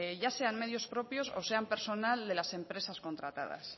ya sean medios propios o sean personal de las empresas contratadas